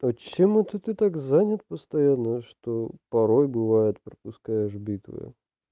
вот чем это ты так занят постоянно что порой бывает пропускаешь битвы